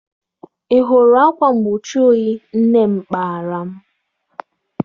Ị hụrụ akwa mgbochi oyi nne m kpara m?